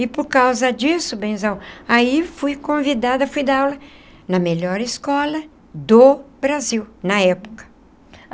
E por causa disso, benzão, aí fui convidada, fui dar aula na melhor escola do Brasil, na época.